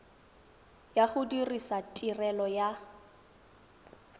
ya go dirisa tirelo ya